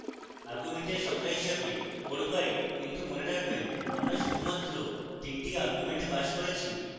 arguments সংখ্যা হিসাবে 4 পাই কিন্তু মনে রাখবেন আমরা শুধুমাত্র 3 the arguments পাস করেছি